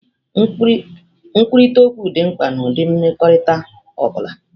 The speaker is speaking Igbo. Nkwurịta okwu dị mkpa n'ụdị mmekọrịta ọ bụla.